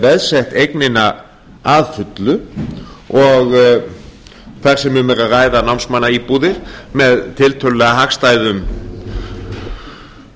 veðsett eignina að fullu og þar sem um er að ræða námsmannaíbúðir með tiltölulega hagstæðum